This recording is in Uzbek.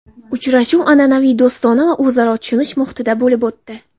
Uchrashuv an’anaviy do‘stona va o‘zaro tushunish muhitida bo‘lib o‘tdi.